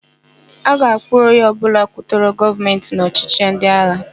A ga-akpụrụ onye ọbụla kwutọrọ Gọọmentị n' ọchịchị ndịagha.